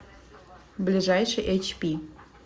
ближайший эйчпи